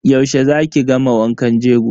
Yaushe za ki gama wankan jego.